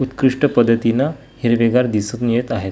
उत्कृष्ट पद्धतीने हिरवेगार दिसून येत आहेत.